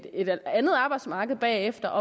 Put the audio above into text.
et andet arbejdsmarked bagefter